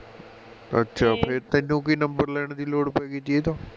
ਅੱਛਾ ਫਿਰ ਤੈਨੂੰ ਕਿ number ਲੈਣ ਦੀ ਲੋੜ ਪਾ ਗਈ ਸੀ ਇਹ ਤੋਂ